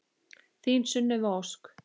Þín Sunneva Ósk.